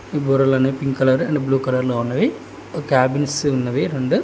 గోరలన్నీ pink colour and blue కలర్లో ఉన్నవి cabins ఉన్నవి రెండు.